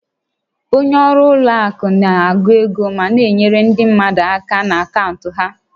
Onye ọrụ ụlọ akụ na-agụ ego ma na-enyere ndị mmadụ aka na akaụntụ ha